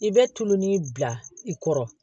I bɛ tulon ni bila i kɔrɔ